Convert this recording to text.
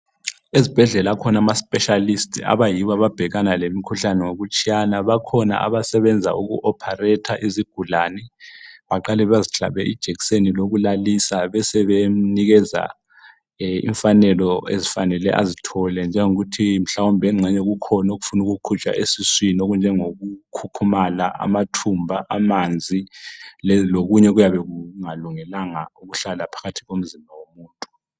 Ezibhedlela kukhona ama spealists anabhekana lemikhuhlane ngokutshiyana bakhona abasebenza uku operator izigulani baqala bezihlabe ijekiseni lokulalisa besenikeza imfanelo okufanele azithole njengokuthi mhlawumbe kukhona okufuna ukukhitshwa esiswini okunje ngokukhukhumala amathumbu amanzi lokunye okuyabe kungakungelanga ukuhlala phakathi komzimba womuntu